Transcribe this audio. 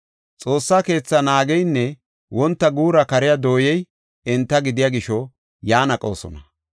Xoossa keethaa naageynne wonta guura kariya dooyey enta gidiya gisho yan aqoosona.